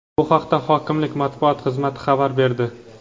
Bu haqda hokimli matbuot xizmati xabar berdi.